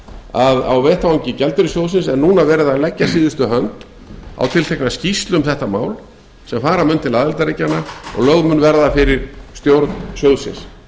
að á vettvangi gjaldeyrissjóðsins er núna verið að leggja síðustu hönd á tiltekna skýrslu um þetta mál sem fara mun til aðildarríkjanna og lögð mun verða fyrir stjórn sjóðsins